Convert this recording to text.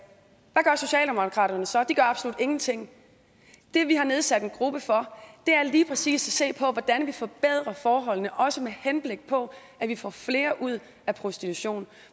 hvad så de gør absolut ingenting det vi har nedsat en gruppe for er lige præcis at se på hvordan vi forbedrer forholdene også med henblik på at vi får flere ud af prostitution